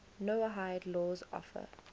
noahide laws offer